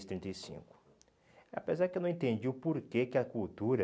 trinta e cinco. Apesar que eu não entendi o porquê que a cultura...